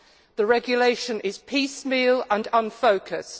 The regulation is piecemeal and unfocused.